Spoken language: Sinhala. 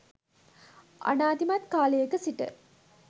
අනාදිමත් කාලයක සිට